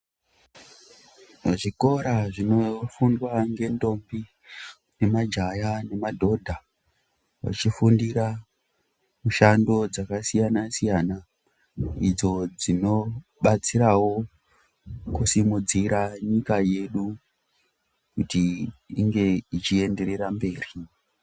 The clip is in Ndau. Zvikora zvinofundwa ngendombi, nemajaya nemadhodha vachifundira mishando dzakasiyana-siyana idzo dzinobatsirawo kusimudzira nyika yedu kuti inge ichienderera mberi.